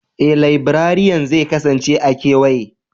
Ee, laibrariyan zai kasance a kewaye.